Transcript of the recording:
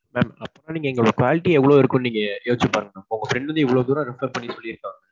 mam. அப்போ எங்க quality எவ்வளவு இருக்கும்னு நீங்க யோசிச்சு பாருங்க mam. உங்க friend வந்து இவ்வளவு தூரம் refer பண்ணி சொல்லி இருக்காங்க.